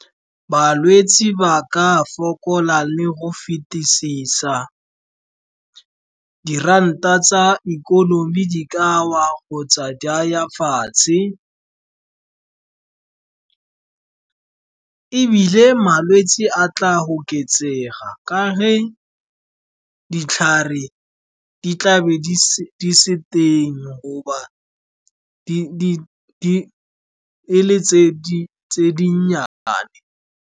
Balwetsi ba ka fokola le go fetisisa, diranta tsa ikonomi di ka wa kgotsa di ya fatshe, ebile malwetsi a tla oketsega ka ge ditlhare di tla be di se teng, goba di le tse dinnyane.